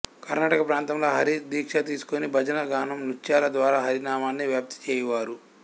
కర్ణాటక ప్రాంతములో హరిదీక్ష తీసుకొని భజన గానం నృత్యాల ద్వారా హరి నామాన్ని వ్యాప్తి చేయువారు